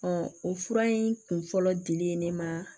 o fura in kun fɔlɔ dili ye ne ma